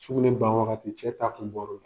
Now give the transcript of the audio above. Sugunɛ ban wagati cɛ ta kun bɔr'o la.